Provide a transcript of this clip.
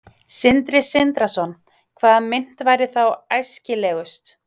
Sindri Sindrason: Hvaða mynt væri þá æskilegust?